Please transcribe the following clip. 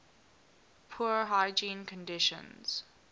poor hygiene conditions